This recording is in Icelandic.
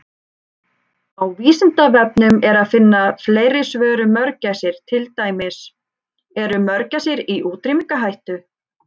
Á Vísindavefnum er að finna fleiri svör um mörgæsir, til dæmis: Eru mörgæsir í útrýmingarhættu?